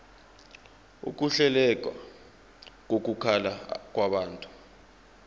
ukuhleleka kokuhlala kwabantu